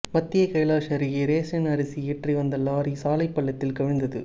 மத்திய கைலாஷ் அருகே ரேஷன் அரிசி ஏற்றிவந்த லாரி சாலை பள்ளத்தில் கவிழ்ந்தது